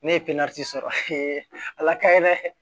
Ne ye sɔrɔ ala ka ye dɛ